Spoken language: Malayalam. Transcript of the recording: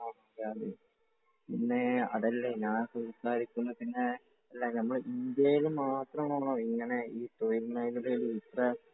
ഓക്കേ പിന്നെ അതല്ല ഞാൻ സംസാരിക്കുന്നതിന് നമ്മുടെ ഇന്ത്യയിൽ മാത്രമാണോ ഇങ്ങനെ തൊഴിൽ മേഖലയിൽ ഇത്ര